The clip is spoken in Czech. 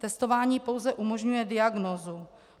Testování pouze umožňuje diagnózu.